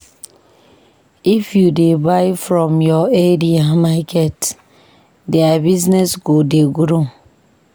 If you dey buy from your area market, their business go dey grow.